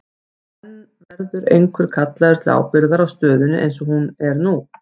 En verður einhver kallaður til ábyrgðar á stöðunni eins og hún er nú?